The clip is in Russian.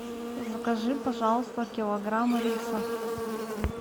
закажи пожалуйста килограмм риса